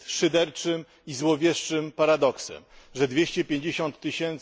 Jest szyderczym i złowieszczym paradoksem, że 250 tys.